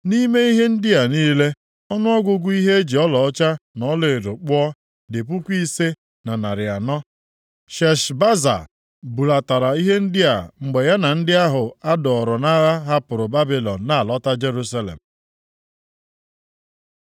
Nʼime ihe ndị a niile, ọnụọgụgụ ihe e ji ọlaọcha na ọlaedo kpụọ dị puku ise na narị anọ (5,400). Sheshbaza bulatara ihe ndị a mgbe ya na ndị ahụ a dọọrọ nʼagha hapụrụ Babilọn na-alọta Jerusalem.